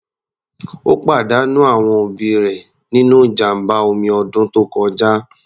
Ó pàdánù àwọn ẹbí rẹ̀ nínú ìjàmbá omi ọdún tó kọjá.